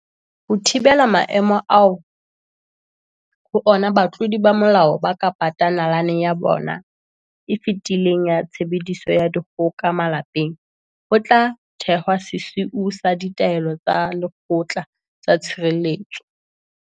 Ho thi-bela maemo ao ho ona batlodi ba molao ba ka patang nalane ya bona e fetileng ya tshebediso ya dikgoka malapeng, ho tla thehwa sesiu sa ditaelo tsa lekgotla tsa tshireletso.